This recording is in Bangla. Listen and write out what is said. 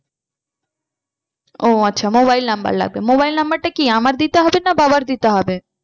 ও আচ্ছা mobile number লাগবে। mobile number টা কি আমার দিতে হবে না বাবার দিতে হবে?